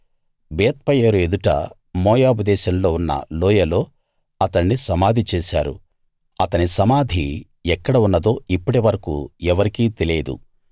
బేత్పయోరు ఎదుట మోయాబు దేశంలో ఉన్న లోయలో అతణ్ణి సమాధి చేశారు అతని సమాధి ఎక్కడ ఉన్నదో ఇప్పటి వరకూ ఎవరికీ తెలియదు